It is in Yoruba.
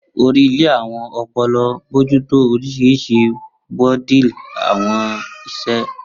Ori ile awọn ọpọlọ, bojuto orisirisi bodily awọn iṣẹ.